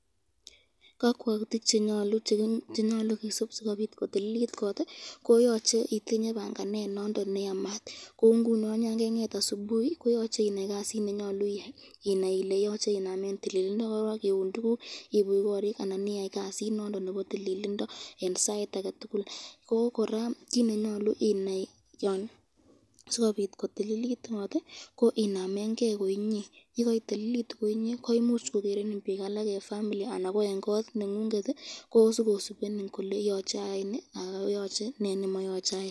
Kakwautik chenyalu kisub sikotililit kot ko yachei itinye banganet nondon neamat , kou ngunon yan kenget asubuhi koyoche inai kasit nenyolu iyai, inai Ile yoche inamen tililindo koron iun tukuk ,ibuch korik anan iyai kasit nondon nebo tililindo eng sait ake tukul kit nenyalu inai sikobit kotililit kot ko inamen ke koinye